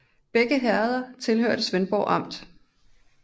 Begge herreder hørte til Svendborg Amt